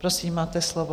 Prosím, máte slovo.